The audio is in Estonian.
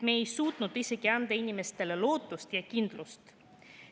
Me ei ole suutnud isegi anda inimestele lootust ja kindlust.